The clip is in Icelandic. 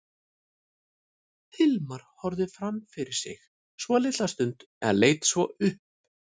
Hilmar horfði fram fyrir sig svolitla stund en leit svo upp.